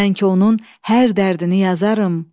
Mən ki onun hər dərdini yazarım.